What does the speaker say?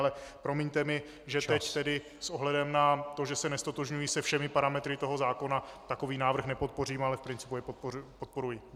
Ale promiňte mi, že teď tedy s ohledem na to, že se neztotožňuji se všemi parametry toho zákona, takový návrh nepodpořím, ale v principu jej podporuji.